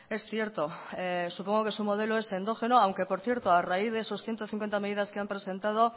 es cierto supongo que su modelo es endógeno aunque por cierto a raíz de esos ciento cincuenta medidas que han presentado